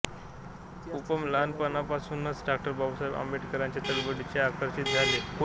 उमप लहानपणापासूनच डॉ बाबासाहेब आंबेडकरांच्या चळवळीकडे आकर्षित झाले होते